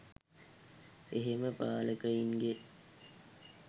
එහෙම පාලකයින්ගේ